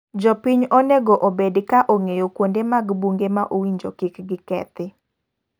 Jopiny onego obed ka ong'eyo kuonde mag unge ma owinjo kik kethi.